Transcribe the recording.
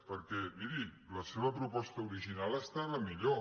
perquè miri la seva proposta original estava millor